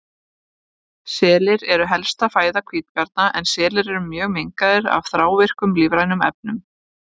Selir eru helsta fæða hvítabjarna en selir eru mjög mengaðir af þrávirkum lífrænum efnum.